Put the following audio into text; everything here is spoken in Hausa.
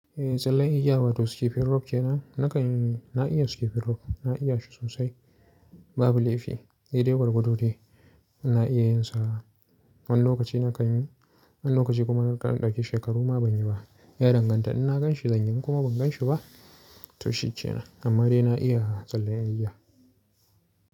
Eh tsallan igiya wato skipping rope kenan. Nakan yi, na iya skipping rope, na iya shi sosai. Babu laifi, daidai gwargwado dai na iya yin sa. Wani lokaci na kan yi, wani lokaci kuma na ɗan ɗaki shekaru ma ban yi ba. Yan danganta in na gan shi zanyi in kuma ban gan shi ba to shi kenan. Amma dai na iya tsallen iyawa.